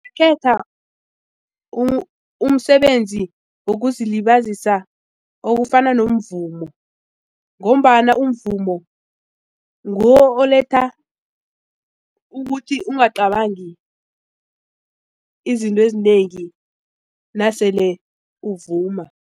umsebenzi wokuzilibazisa okufana nomvumo ngombana umvumo nguwo oletha ukuthi ungacabangi izinto ezinengi nasele uvuma.